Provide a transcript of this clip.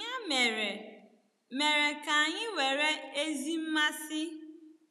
Ya mere, mere, ka anyị were ezi mmasị